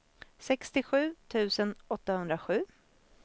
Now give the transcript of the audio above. sextiosju tusen åttahundrasju